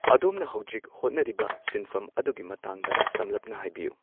ꯑꯗꯣꯝꯅ ꯍꯧꯖꯤꯛ ꯍꯣꯠꯅꯔꯤꯕ ꯁꯤꯟꯐꯝ ꯑꯗꯨꯒꯤ ꯃꯇꯥꯡꯗ ꯁꯝꯂꯞꯅ ꯍꯥꯏꯕꯤꯌꯨ